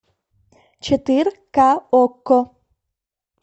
четыр ка окко